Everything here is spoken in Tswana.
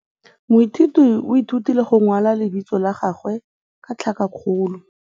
Moithuti o ithutile go simolola go kwala leina la gagwe ka tlhakakgolo.